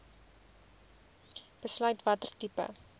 besluit watter tipe